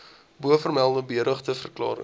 bovermelde beëdigde verklarings